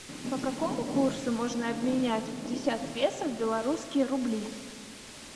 по какому курсу можно обменять пятьдесят песо в белорусские рубли